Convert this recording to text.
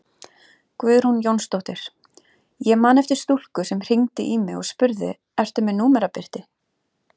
Guðrún Jónsdóttir: Ég man eftir stúlku sem hringdi í mig og spurði ertu með númerabirti?